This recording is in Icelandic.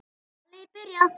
Ballið er byrjað.